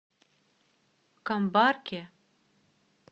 камбарке